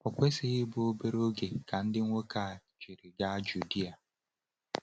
O kwesịghị ịbụ obere oge ka ndị nwoke a jiri gaa Judea.